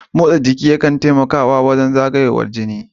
Motsa jiki yakan taimakawa wajen zagayowar jini